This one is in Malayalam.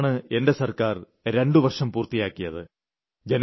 അടുത്തിടെയാണ് എന്റെ സർക്കാർ 2 വർഷം പൂർത്തിയാക്കിയത്